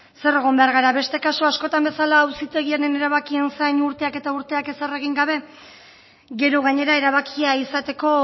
zer egon behar gara beste kasu askotan bezala auzitegien erabakien zain urteak eta urteak ezer egin gabe gero gainera erabakia izateko